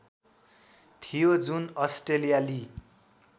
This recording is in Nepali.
थियो जुन अस्ट्रेलियाली